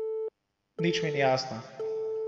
Nič mi ni jasno.